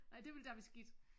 Nej det ville da være skidt